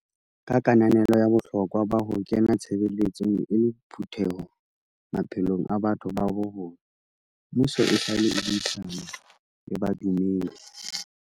Ka kananelo ya bohlokwa ba ho kena tshebeletsong e le phutheho maphelong a batho ba bo rona, mmuso esale o buisana le badumedi.